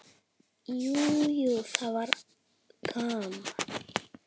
Jú, jú, það var gaman.